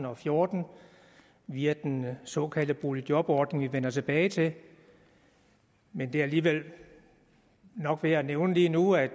og fjorten via den såkaldte boligjobordning vi vender tilbage til men det er alligevel nok værd at nævne lige nu at